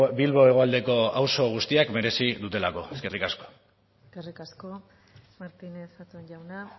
bilbo hegoaldeko auzo guztiak merezi dutelako eskerrik asko eskerrik asko martinez zaton jauna